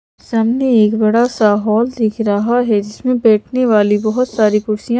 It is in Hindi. सामने एक बड़ा सा हॉल दिख रहा है जिसमे बैठ ने वाली बहोत सारी कुर्सियां--